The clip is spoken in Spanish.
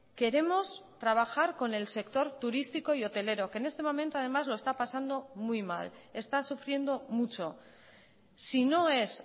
queremos trabajar con el sector turístico y hotelero que en este momento además lo está pasando muy mal está sufriendo mucho si no es